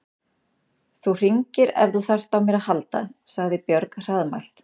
Þú hringir ef þú þarft á mér að halda, sagði Björg hraðmælt.